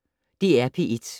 DR P1